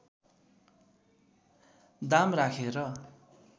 दाम राखेर